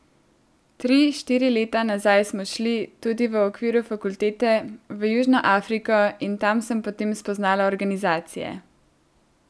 Tri, štiri leta nazaj smo šli, tudi v okviru fakultete, v Južno Afriko, in tam sem potem spoznala organizacije.